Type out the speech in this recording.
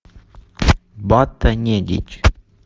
бата недич